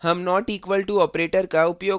उसी प्रकार हम not equal to operator का उपयोग करेंगे